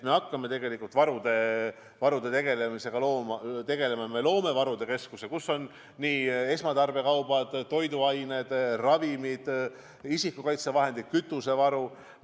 Me hakkame varudega tegelema, me loome varude keskuse, kus on esmatarbekaubad, toiduained, ravimid, isikukaitsevahendid, kütusevaru.